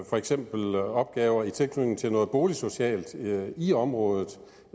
for eksempel opgaver i tilknytning til noget boligsocialt i området